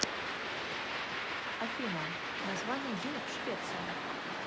афина название денег в швеции